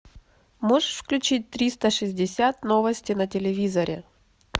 можешь включить триста шестьдесят новости на телевизоре